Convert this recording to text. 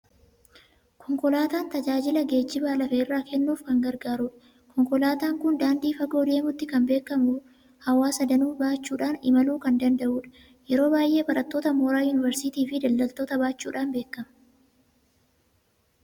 Konkolaataan tajaajila geejjiba lafa irraa kennuunf kan gargaarudha. Konkolaataan kun daandii fagoo deemuutti kan beekamu, hawaasa danuu baachuudhaan imaluu kan danda'udha. Yeroo baay'ee barattoota mooraa yuuniversiitii fi daldaltoota baachuudhaan beekama.